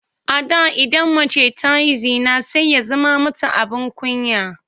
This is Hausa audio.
A da idan mace ta yi zina sai ya zame mata abin kunya.